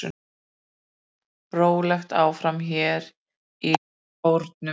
Rólegt áfram hér í Kórnum.